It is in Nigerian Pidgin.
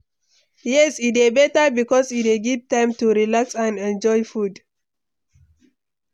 yes, e dey beta because e dey give time to relax and enjoy food.